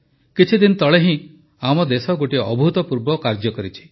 କିଛିଦିନ ତଳେ ହିଁ ଆମ ଦେଶ ଗୋଟିଏ ଅଭୂତପୂର୍ବ କାର୍ଯ୍ୟ କରିଛି